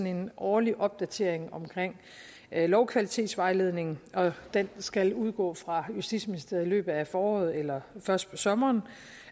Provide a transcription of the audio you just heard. en årlig opdatering af lovkvalitetsvejledningen den skal udgå fra justitsministeriet i løbet af foråret eller først på sommeren